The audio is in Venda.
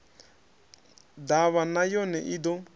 ḓavha na yone i ḓo